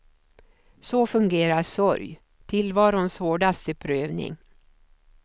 Så fungerar sorg, tillvarons hårdaste prövning.